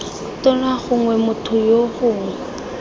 tona gongwe motho yoo gongwe